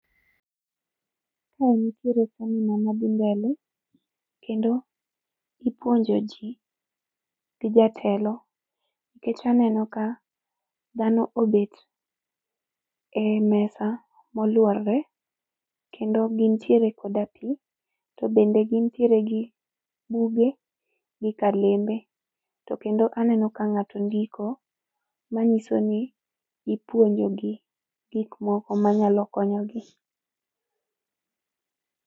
Ka nitiere seminar madhi mbele, kendo ipuonjo jii gi jatelo, nkech aneno ka dhano obet e mesa moluorre, kendo gintiere koda pii, to bende gintiere gi buge gi kalembe, to kendo aneno ka ng'ato ndiko, manyiso ni ipuonjogi gik manyalo konyogi.